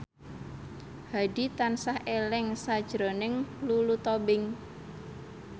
Hadi tansah eling sakjroning Lulu Tobing